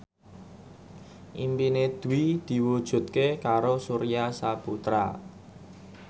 impine Dwi diwujudke karo Surya Saputra